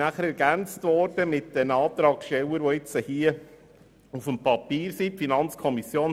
Diese wurde durch die Antragsteller, die nun auf dem Papier stehen, ergänzt.